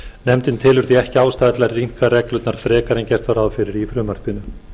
nefndin telur ekki ástæðu til að rýmka reglurnar frekar en gert var ráð fyrir í frumvarpinu